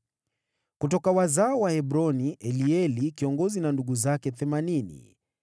Kutoka wazao wa Hebroni, Elieli kiongozi na ndugu zake 80.